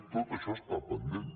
tot això està pendent